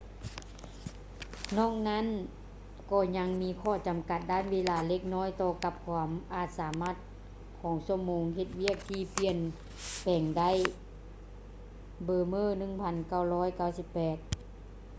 ນອກນັ້ນ ກໍຍັງມີຂໍ້ຈຳກັດດ້ານເວລາເລັກນ້ອຍຕໍ່ກັບຄວາມອາດສາມາດຂອງຊົ່ວໂມງເຮັດວຽກທີ່ປ່ຽນແປງໄດ້ bremer 1998